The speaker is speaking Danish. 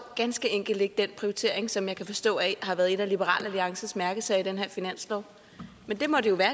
ganske enkelt ikke den prioritering som jeg kan forstå har været en af liberal alliances mærkesager i den her finanslov men det må jo være